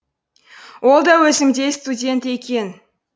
ол да өзімдей студент екен